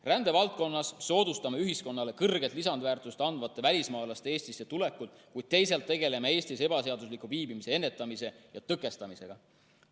Rändevaldkonnas soodustame ühiskonnale kõrget lisandväärtust andvate välismaalaste Eestisse tulekut, kuid teisalt tegeleme Eestis ebaseadusliku viibimise ennetamise ja tõkestamisega.